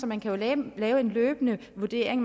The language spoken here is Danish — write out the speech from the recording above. man kan lave en løbende vurdering